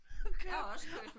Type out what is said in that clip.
Okay